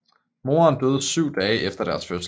Moren døde 7 dage efter deres fødsel